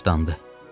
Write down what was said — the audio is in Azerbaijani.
Başlandı.